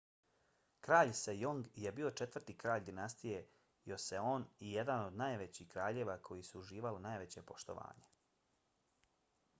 kralj sejong je bio četvrti kralj dinastije joseon i jedan od kraljeva koji su uživali najveće poštovanje